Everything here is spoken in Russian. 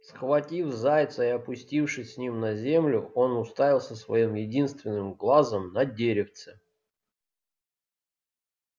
схватив зайца и опустившись с ним на землю он уставился своим единственным глазом на деревце